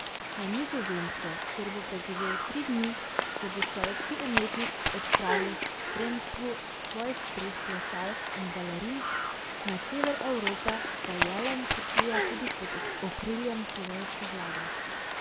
Na Nizozemsko, kjer bo preživel tri dni, se bo celjski umetnik odpravil s spremstvu svojih treh plesalk in balerin, na sever Evrope pa Jelen potuje tudi pod okriljem slovenske vlade.